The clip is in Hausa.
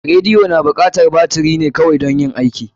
Radiyo na bukatar baturi ne kawai dan yin aiki.